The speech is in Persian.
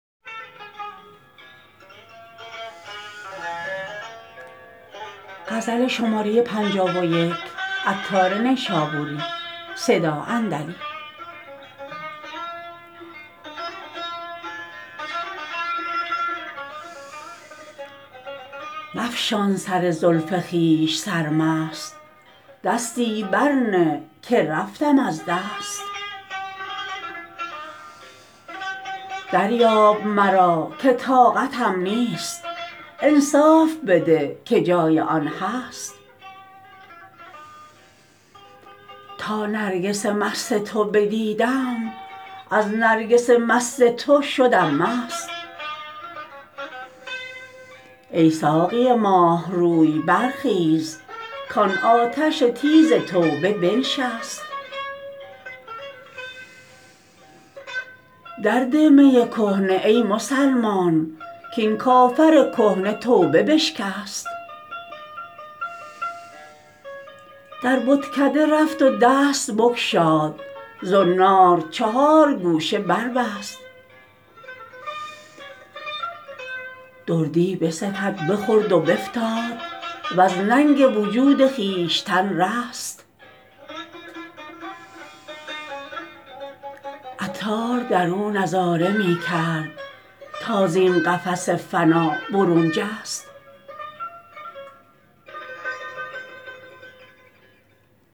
مفشان سر زلف خویش سرمست دستی بر نه که رفتم از دست دریاب مرا که طاقتم نیست انصاف بده که جای آن هست تا نرگس مست تو بدیدم از نرگس مست تو شدم مست ای ساقی ماه روی برخیز کان آتش تیز توبه بنشست در ده می کهنه ای مسلمان کین کافر کهنه توبه بشکست در بتکده رفت و دست بگشاد زنار چهار گوشه بربست دردی بستد بخورد و بفتاد وز ننگ وجود خویشتن رست عطار درو نظاره می کرد تا زین قفس فنا برون جست